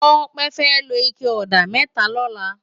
Tope fè ló iké òdá mètá lòlá